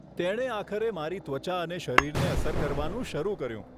તેણે આખરે મારી ત્વચા અને શરીરને અસર કરવાનું શરૂ કર્યું.